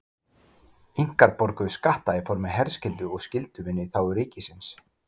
Inkar borguðu skatta í formi herskyldu og skylduvinnu í þágu ríkisins.